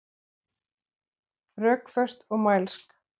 Rökföst og mælsk.